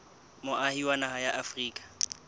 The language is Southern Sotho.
moahi wa naha ya afrika